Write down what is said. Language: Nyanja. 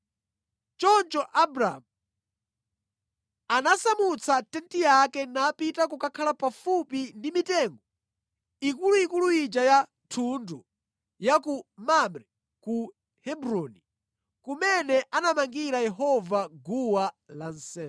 Choncho Abramu anasamutsa tenti yake napita kukakhala pafupi ndi mitengo ikuluikulu ija ya thundu ya ku Mamre ku Hebroni, kumene anamangira Yehova guwa lansembe.